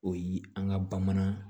O yi an ka bamanan